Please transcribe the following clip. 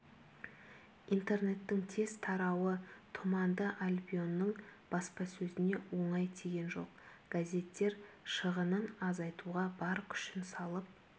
интернеттің тез тарауы тұманды альбионның баспасөзіне оңай тиген жоқ газеттер шығынын азайтуға бар күшін салып